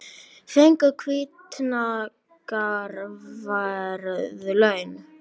Fengu hvatningarverðlaun